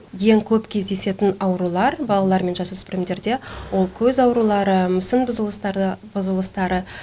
ең көп кездесетін аурулар балалар мен жасөспірімдерде ол көз аурулары мүсін бұзылыстары